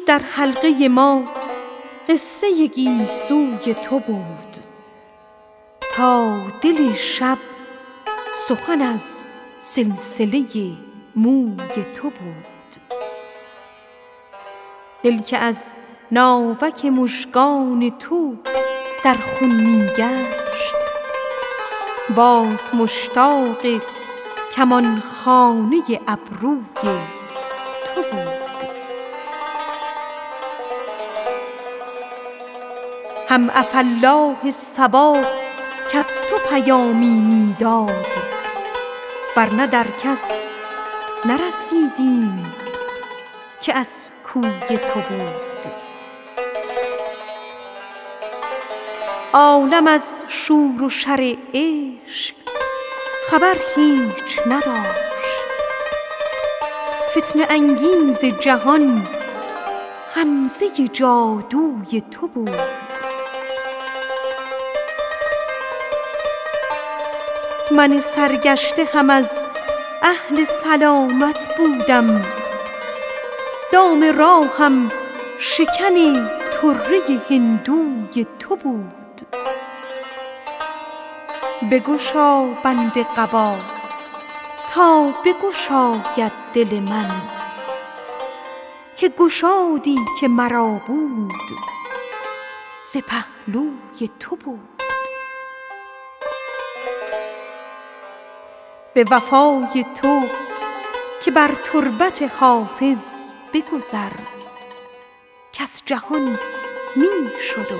دوش در حلقه ما قصه گیسوی تو بود تا دل شب سخن از سلسله موی تو بود دل که از ناوک مژگان تو در خون می گشت باز مشتاق کمان خانه ابروی تو بود هم عفاالله صبا کز تو پیامی می داد ور نه در کس نرسیدیم که از کوی تو بود عالم از شور و شر عشق خبر هیچ نداشت فتنه انگیز جهان غمزه جادوی تو بود من سرگشته هم از اهل سلامت بودم دام راهم شکن طره هندوی تو بود بگشا بند قبا تا بگشاید دل من که گشادی که مرا بود ز پهلوی تو بود به وفای تو که بر تربت حافظ بگذر کز جهان می شد و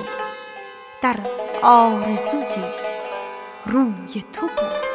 در آرزوی روی تو بود